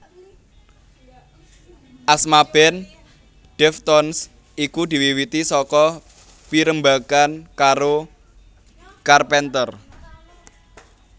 Asma band Deftones iku diwiwiti saka pirembagan karo Carpenter